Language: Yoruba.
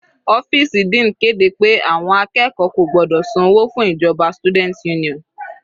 Ọ́fìsì dean kéde pé àwọn akẹ́kọ̀ọ́ kò gbọ́dọ̀ san owó fún ìjọba student union.